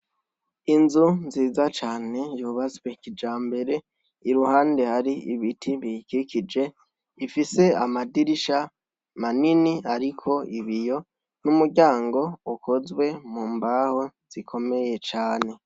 Inzu nziza cane yubatswe kijambere, iruhande hari ibiti biyikikije, ifise amadirisha manini ariko ibiyo n'umuryango ukozwe mu mbaho zikomeye cane.